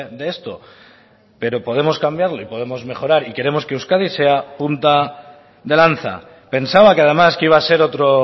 de esto pero podemos cambiarlo y podemos mejorar y queremos que euskadi sea punta de lanza pensaba que además que iba a ser otro